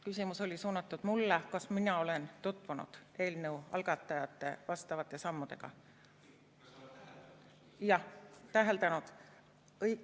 Küsimus oli suunatud mulle, kas mina olen tutvunud eelnõu algatajate vastavate sammudega või täheldanud neid.